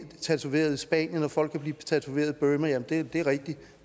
tatoveret i spanien og folk kan blive tatoveret i burma det er rigtigt